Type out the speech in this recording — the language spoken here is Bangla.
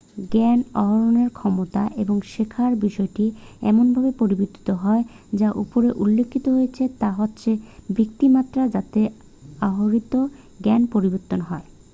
জ্ঞান আহরণের ক্ষমতা এবং শেখার বিষয়টি এমনভাবে পরিবর্তিত হয় যা উপরে উল্লেখিত হয়েছে তা হচ্ছে ভিত্তির মাত্রা যাতে আহরিত জ্ঞান পরিবর্তিত হয়